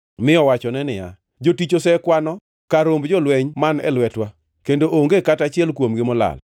mi owachone niya, “Jotichni osekwano kar romb jolweny man e lwetwa, kendo onge kata achiel kuomgi molal.